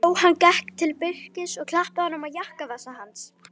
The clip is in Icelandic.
Jóhann gekk til Birkis og klappaði á jakkavasa hans.